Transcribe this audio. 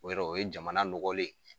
O yɔrɔ o ye jamana nɔgɔlen ye.